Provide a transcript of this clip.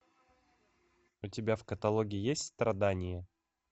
у тебя в каталоге есть страдания